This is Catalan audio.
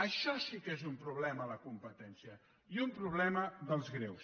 això sí que és un problema a la competència i un problema dels greus